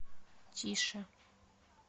тише